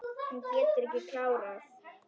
Hún getur ekki klárað.